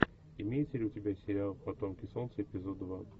имеется ли у тебя сериал потомки солнца эпизод два